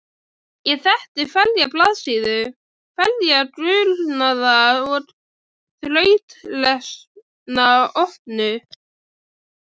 Ég þekkti hverja blaðsíðu, hverja gulnaða og þrautlesna opnu